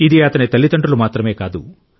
ఇది అతని తల్లిదండ్రులు మాత్రమే కాదు